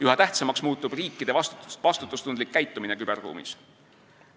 Üha tähtsamaks muutub riikide vastutustundlik käitumine küberruumis.